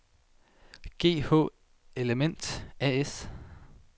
GH Element A/S